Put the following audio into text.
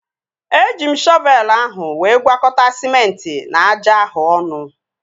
Eji m shọvelu ahụ wee gwakọta sịmenti na aja ahụ ọnụ